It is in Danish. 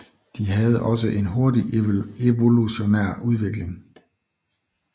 De havde også en hurtig evolutionær udvikling